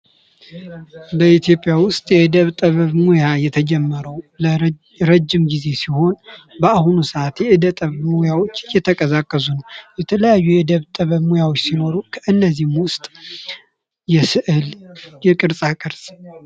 በኢትዮጵያ ውስጥ የዕደ ጥበብ ሞያ የተጀመረው ረጅም ጊዜ ሲሆን በአሁን ሰአት የዕደ ጥበብ ሞያዎች እየተቀላቀዙ ነው። የተለያዩ የዕደ ጥበብ ሙያዎች ሲኖሩ ከእነዚህም ውስጥ የስዕል የቅርፃ ቅርጽ